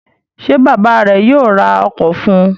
Ṣé bàbá rẹ̀ yóò ra ọkọ̀ fún un?